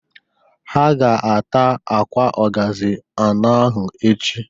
Ha ga- ata akwa ọgazị anọ ahụ echi.